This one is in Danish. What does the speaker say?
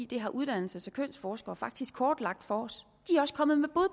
det har uddannelses og kønsforskere faktisk kortlagt for os